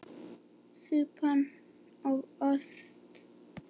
Súpan of sölt!